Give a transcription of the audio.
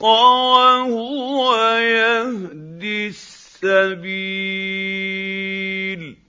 وَهُوَ يَهْدِي السَّبِيلَ